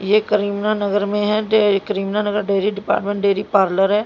यह करीमनानगर में है dairy Karimnagar dairy department dairy parlour है।